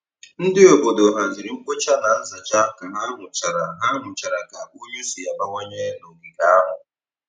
Ndị obodo haziri mkpocha na nzacha ka ha hụchara ha hụchara ka unyi si abawanye n'ogige ahụ.